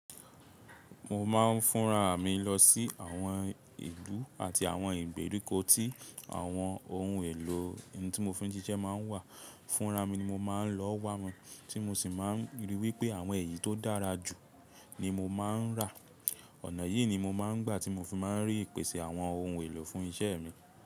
Mò má ń fúnra mi lọ sí àwọn ìlú àti àwọn ìgbèríko tí àwọn ohun èlò in tí mo fi ń ṣiṣẹ́ ma ń wà. Fúnra mi ni mo ma ń lọ wa wọ́n, tí mo sì má ń ríi wípé àwọn èyí tó dára jù ni mo ma ń rà. Ọ̀nà yìí ni mo ma ń gbà tí mo fi ma ń rí ìpèsè àwọn ohun èlò fún iṣẹ́ mi.